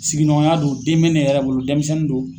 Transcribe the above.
Sigiɲɔgɔnya do den mɛ ne yɛrɛ bolo denmisɛnnin do.